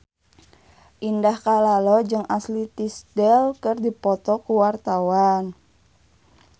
Indah Kalalo jeung Ashley Tisdale keur dipoto ku wartawan